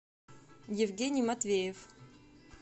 евгений матвеев